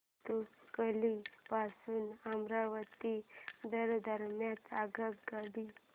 भातुकली पासून अमरावती दरम्यान आगगाडी